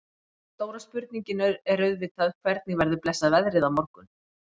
En stóra spurningin er auðvitað hvernig verður blessað veðrið á morgun?